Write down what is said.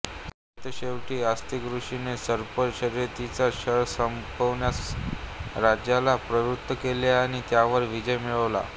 सरतेशेवटी अस्तिक ऋषिने सर्प शर्यतीचा छळ संपवण्यास राजाला प्रवृत्त केले आणि त्यावर विजय मिळवला